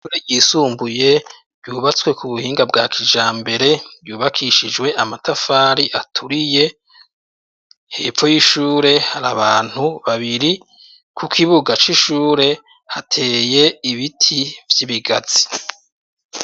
Ishure ryisumbuye ryubatswe ku buhinga bwa kijambere, ryubakishijwe amatafari aturiye, hepfo y'ishure hari abantu babiri, ku kibuga c'ishure hateye ibiti vy'ibigazi.